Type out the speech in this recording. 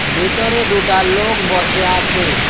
ভেতরে দুটা লোক বসে আছে।